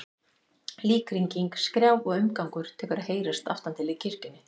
Líkhringing, skrjáf og umgangur tekur að heyrast aftan til í kirkjunni.